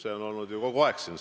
Nii on siin saalis kogu aeg olnud.